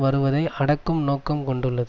வருவதை அடக்கும் நோக்கம் கொண்டுள்ளது